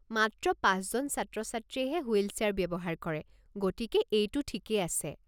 মাত্ৰ পাঁচজন ছাত্ৰ-ছাত্ৰীয়েহে হুইল চেয়াৰ ব্যৱহাৰ কৰে, গতিকে এইটো ঠিকেই আছে।